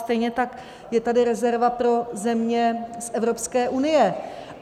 Stejně tak je tady rezerva pro země z Evropské unie.